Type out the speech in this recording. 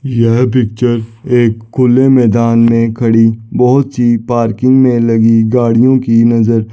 यह पिक्चर एक खुले मैदान में खड़ी बहुत सी पार्किंग में लगी गाड़ियों की नजर--